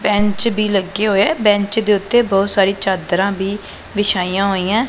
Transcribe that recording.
Bench ਵੀ ਲੱਗਿਆ ਹੋਇਆ ਬੈਂਚ ਦੇ ਓੱਤੇ ਬਹੁਤ ਸਾਰੀ ਚਾਦਰਾਂ ਵੀ ਵਿਛਾਈਆਂ ਹੋਈਆਂ।